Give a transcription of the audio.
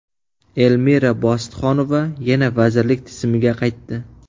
Elmira Bositxonova yana vazirlik tizimiga qaytdi.